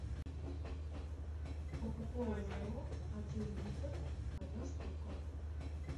кока кола зеро один литр одна штука